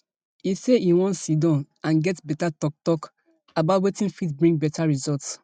e say e wan sidon and get beta toktok about wetin fit bring beta results